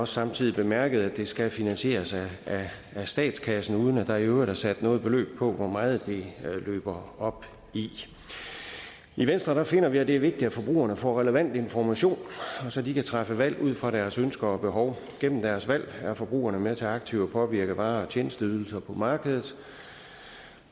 samtidig bemærket at det skal finansieres af statskassen uden at der i øvrigt er sat noget beløb på hvor meget det løber op i i venstre finder vi at det er vigtigt at forbrugerne får relevant information så de kan træffe valg ud fra deres ønsker og behov gennem deres valg er forbrugerne med til aktivt at påvirke varer og tjenesteydelser på markedet